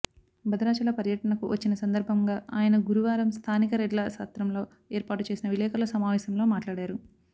భద్రాచల పర్య టనకు వచ్చిన సందర్భంగా ఆయన గురువారం స్థానిక రెడ్ల సత్రంలో ఏర్పాటు చేసిన విలేకరుల సమావేశంలో మాట్లాడారు